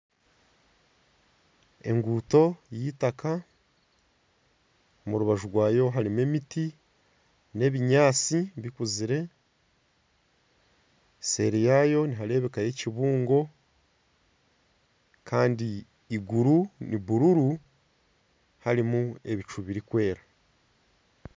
Enguuto y'eitaaka omu rubaju rwayo harimu emiti n'ebinyaatsi bikuzire seeri yaayo nihareebekayo ekibungo kandi eiguru ni buruuru harimu ebicu birikwera.